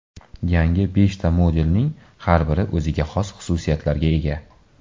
Yangi beshta modelning har biri o‘ziga xos xususiyatlarga ega.